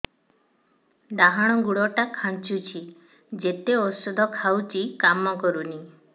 ଡାହାଣ ଗୁଡ଼ ଟା ଖାନ୍ଚୁଚି ଯେତେ ଉଷ୍ଧ ଖାଉଛି କାମ କରୁନି